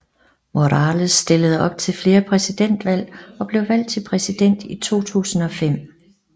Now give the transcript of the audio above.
Morales stillede op til flere præsidentvalg og blev valgt til præsident i 2005